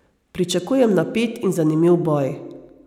Pričakujem napet in zanimiv boj.